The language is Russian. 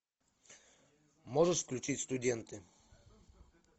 можешь включить студенты